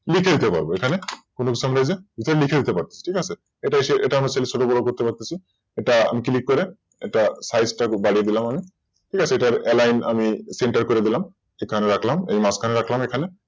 লিখে নিতে পারব এখানে Full stop নেই যে লিখে নিতে পারব এটা আমরা ছোট বড় করতে পারতেছি এটা Click করে এটার Size কারো বাড়িয়ে দিলাম আমি ঠিক আছে এটার Aline আমি center করে দিলাম এখানে রাখলাম এই মাঝখানে রাখলাম এখানে